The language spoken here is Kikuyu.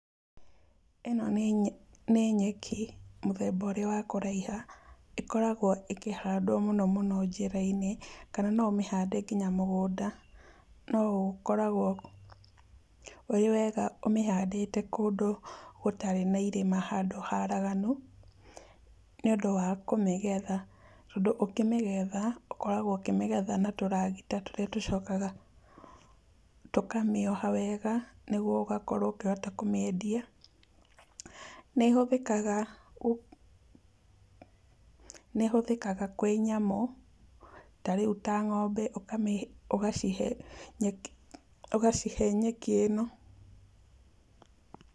Ĩno nĩ nĩ nyeki, mũthemba ũrĩa wa kũraiha. Ĩkoragwo ĩkĩhandwo mũno mũno njĩra-inĩ, kana no ũmĩhande nginya mũgũnda. No ũkoragwo ũrĩ wega ũmĩhandĩte kũndũ gũtarĩ na irĩma, handũ haraganu, nĩ ũndũ wa kũmĩgetha. Tondũ ũkĩmĩgetha, ũkoragwo ũkĩmĩgetha na tũragita tũrĩa tũcokaga tũkamĩoha wega, nĩguo ũgakorwo ũkĩhota kũmĩendia. Nĩ ĩhũthĩkaga, nĩ ĩhũthĩkaga kwĩ nyamũ, ta rĩu ta ng'ombe, ũkamĩhe ĩgacihe nyeki, ũgacihe nyeki ĩno.